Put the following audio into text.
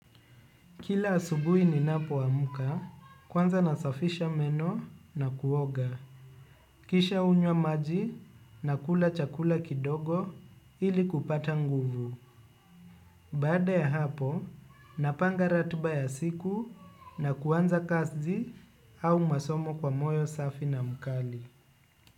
Kila asubui ni napo amka kwanza nasafisha meno na kuoga. Kisha unywa maji na kula chakula kidogo ili kupata nguvu. Baada ya hapo napanga ratba ya siku na kuanza kazi au masomo kwa moyo safi na mkali.